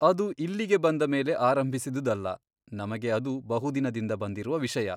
ಅದು ಇಲ್ಲಿಗೆ ಬಂದ ಮೇಲೆ ಆರಂಭಿಸಿದುದಲ್ಲ ನಮಗೆ ಅದು ಬಹುದಿನದಿಂದ ಬಂದಿರುವ ವಿಷಯ.